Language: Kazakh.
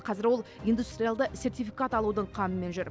қазір ол индустриалды сертификат алудың қамымен жүр